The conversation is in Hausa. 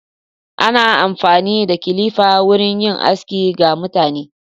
Ana amfani da kilifa wurin yin aski ga mutane.